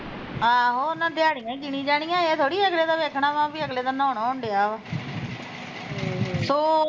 ਆਹੋ ਉਹਨਾਂ ਦਿਹਾੜੀਆਂ ਈ ਗਿਣੀ ਜਾਣੀਆਂ ਏਹ ਥੋੜੀ ਅਗਲੇ ਦਾ ਵੇਖਣਾ ਵਾ ਵੀ ਅਗਲੇ ਦਾ ਨਾਉਣ ਆਉਣ ਡਿਆ ਵਾ ਹਮ ਸੋ ਚ